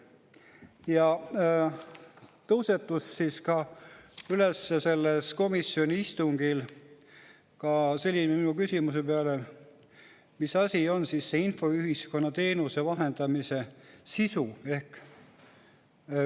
Sellel komisjoni istungil tõusetus minu küsimuse peale ka selline: mis asi on see infoühiskonna teenuse vahendamise sisu?